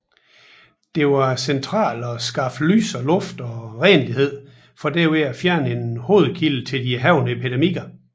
Det var centralt at skaffe lys og luft og renlighed for derved at fjerne en hovedkilde til de hærgende epidemier